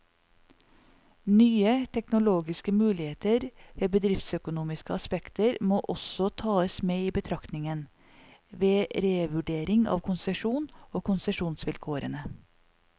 Nye teknologiske muligheter og bedriftsøkonomiske aspekter må også tas med i betraktningen, ved revurdering av konsesjonen og konsesjonsvilkårene.